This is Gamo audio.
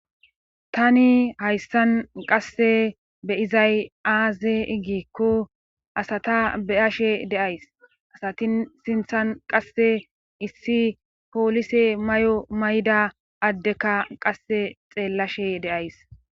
tani hayssan qasse beyizay aaze iggikko asata beyashe deays asatin sinthan qasse issi poolise may7o mayda addekka qasse xeellashe deays